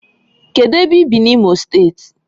Kedu ebe i bi na Imo state?